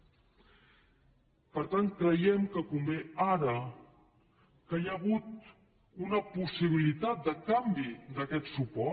per tant creiem que convé ara que hi ha hagut una possibilitat de canvi d’aquest suport